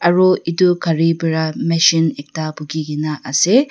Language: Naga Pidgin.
aro itu gari para machine ekta bukhigena ase.